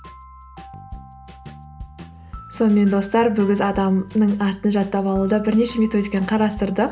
сонымен достар адамның атын жаттап алуда бірнеше методиканы қарастырдық